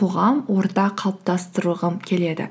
қоғам орта қалыптастырғым келеді